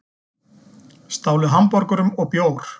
Stálu hamborgurum og bjór